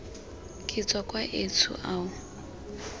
ke tswa kwa etsho ao